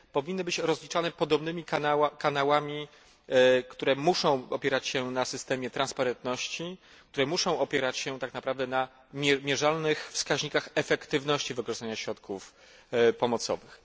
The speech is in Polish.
Powinny być one rozliczane podobnym kanałami, które muszą opierać się na systemie transparentności, które muszą opierać się tak na prawdę na mierzalnych wskaźnikach efektywności wykorzystania środków pomocowych.